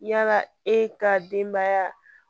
Yala e ka denbaya